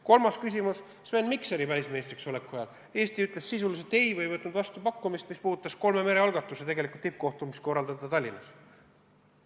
Kolmas küsimus: Sven Mikseri välisministriks oleku ajal ütles Eesti sisuliselt ei pakkumisele, mis puudutas kolme mere algatuse tippkohtumise korraldamist Tallinnas.